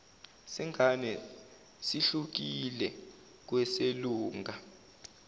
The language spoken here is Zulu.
sengane sihlukile kweselunga